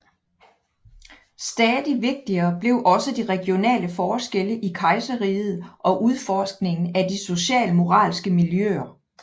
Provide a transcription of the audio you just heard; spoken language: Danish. Stadig vigtigere blev også de regionale forskelle i kejserriget og udforskningen af de socialmoralske miljøer